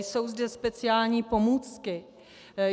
Jsou zde speciální pomůcky.